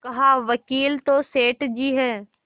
कहावकील तो सेठ जी हैं